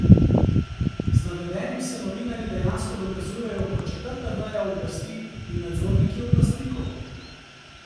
Z navedenim se novinarji dejansko dokazujejo kot četrta veja oblasti in nadzorniki oblastnikov.